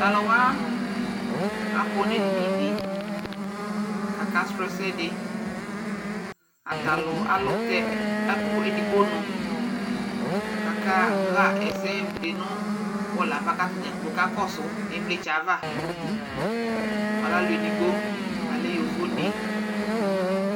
Tu aluwa akɔ nu ɛdini di ku akasrɔ̃ ɛsɛ di Atalu alu tɛ ɛkuɛ digbo nu ku akaɣa ɛsɛ di nu bɔlu yɛ ava ku atadzagblo kakɔsu ivlitsɛ yɛ ava Alu ɛdigbo alɛ yovoni